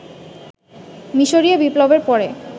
মিসরীয় বিপ্লবের পরে